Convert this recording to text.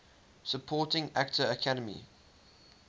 supporting actor academy